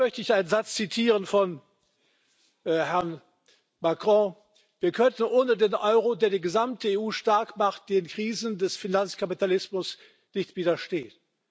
Und dann möchte ich einen Satz zitieren von Herrn Macron Wir könnten ohne den Euro, der die gesamte EU stark macht, den Krisen des Finanzkapitalismus nicht widerstehen.